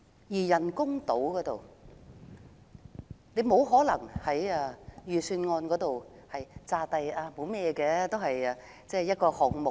至於人工島，政府沒可能假裝它只是預算案的其中一個項目。